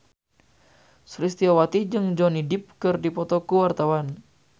Sulistyowati jeung Johnny Depp keur dipoto ku wartawan